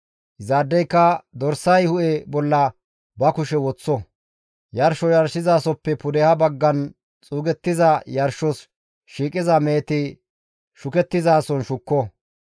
Izaadeyka dorsay hu7e bolla ba kushe woththo; yarsho yarshizasoppe pudeha baggan xuugettiza yarshos shiiqiza meheti shukettizason shukko.